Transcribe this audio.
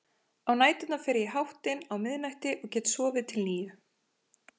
Á næturnar fer ég í háttinn á miðnætti og get sofið til níu.